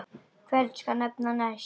Hvern skal nefna næst?